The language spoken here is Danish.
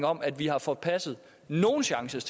om at vi har forpasset nogen chance